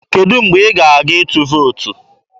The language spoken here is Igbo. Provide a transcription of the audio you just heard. Kedụ mgbe ị ga-aga ịtụ vootu?